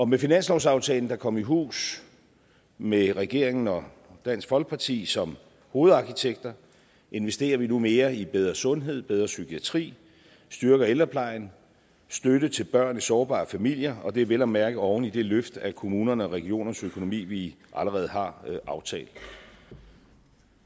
med finanslovsaftalen der kom i hus med regeringen og dansk folkeparti som hovedarkitekter investerer vi nu mere i bedre sundhed og bedre psykiatri styrker ældreplejen og støtte til børn i sårbare familier og det er vel at mærke oven i det løft af kommunernes og regionernes økonomi vi allerede har aftalt